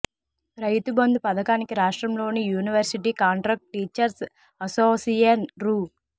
రైతుబంధు పథకానికి రాష్ట్రంలోని university contract teachers association రూ